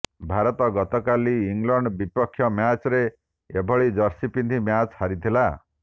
ଭାରତ ଗତକାଲି ଇଂଲଣ୍ଡ ବିପକ୍ଷ ମ୍ୟାଚ୍ରେ ଏଭଳି ଜର୍ସି ପିନ୍ଧି ମ୍ୟାଚ୍ ହାରିଥିଲା